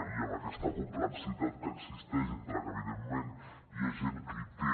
i amb aquesta complexitat que existeix entre que evidentment hi ha gent que hi té